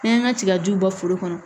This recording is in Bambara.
N'an y'an ka tigaju bɔ foro kɔnɔ